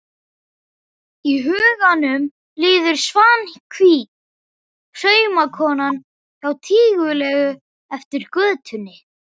Í huganum líður Svanhvít saumakona há og tíguleg eftir götunni.